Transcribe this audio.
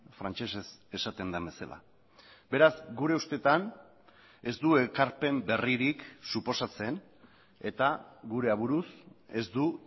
frantsesez esaten den bezala beraz gure ustetan ez du ekarpen berririk suposatzen eta gurea buruz ez du